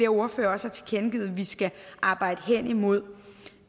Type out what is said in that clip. ordførere har tilkendegivet vi skal arbejde hen imod